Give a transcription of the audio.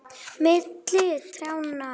Milli trjánna